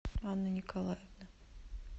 анны николаевны